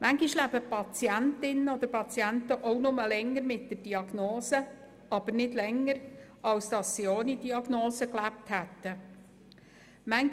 Manchmal leben die Patientinnen oder Patienten auch nur länger mit der Diagnose, aber nicht länger, als sie ohne Diagnose gelebt hätten.